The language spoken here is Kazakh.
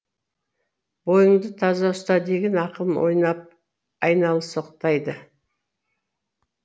бойыңды таза ұста деген ақылын айналсоқтайды